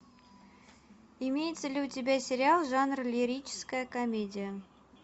имеется ли у тебя сериал жанр лирическая комедия